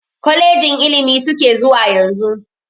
Kolejin ilimi suke zuwa yanzu.